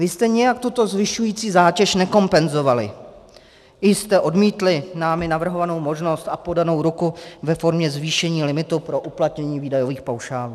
Vy jste nijak tuto zvyšující zátěž nekompenzovali, vy jste odmítli námi navrhovanou možnost a podanou ruku ve formě zvýšení limitu pro uplatnění výdajových paušálů.